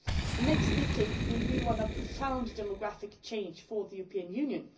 The next decade will be one of profound demographic change for the European Union.